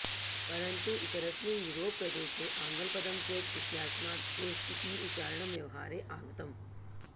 परन्तु इतरस्मिन् युरोप् प्रदेशे आङ्ग्लपदं चेक् इत्यस्मात् चेस् इति उच्चारणं व्यवहारे आगतम्